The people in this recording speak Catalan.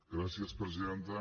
gràcies presidenta